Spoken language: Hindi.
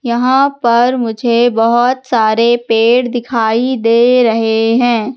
यहां पर मुझे बहोत सारे पेड़ दिखाई दे रहे हैं।